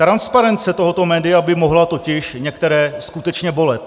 Transparence tohoto média by mohla totiž některé skutečně bolet.